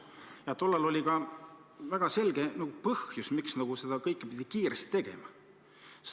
Ja tollal oli ka väga selge põhjus, miks seda kõike pidi kiiresti tegema.